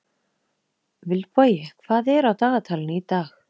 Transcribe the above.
Vilbogi, hvað er á dagatalinu í dag?